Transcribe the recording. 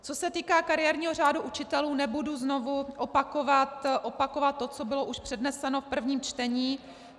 Co se týká kariérního řádu učitelů, nebudu znovu opakovat to, co bylo už předneseno v prvním čtení.